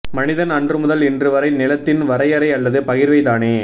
மனிதன் அன்று முதல் இன்று வரை நிலத்தின் வரையறை அல்லது பகிர்வை தானே